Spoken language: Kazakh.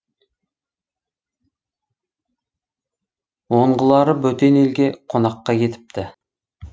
онғылары бөтен елге қонаққа кетіпті